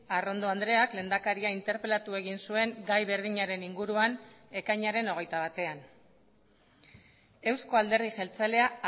arrondo andreak lehendakaria interpelatu egin zuen gai berdinaren inguruan ekainaren hogeita batean euzko alderdi jeltzalea